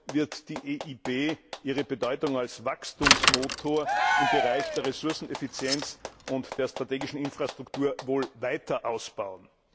EUR wird die EIB ihre Bedeutung als Wachstumsmotor im Bereich der Ressourceneffizienz und der strategischen Infrastruktur wohl weiter ausbauen.